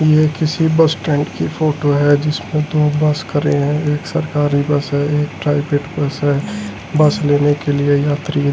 ये किसी bus stand की फोटो है जिसमें दो बस करें हैं एक सरकारी बस है एक प्राइवेट बस है बस लेने के लिए यात्री--